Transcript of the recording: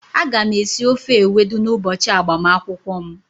Aga m esi ofe Ewedu n'ụbọchị agbamakwụkwọ m.